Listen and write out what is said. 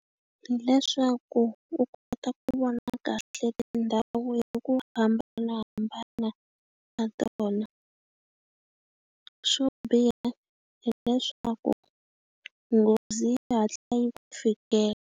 Hileswaku u kota ku vona kahle tindhawu ta ku hambanahambana ka tona. Xo biha hileswaku nghozi yi hatla yi ku fikela.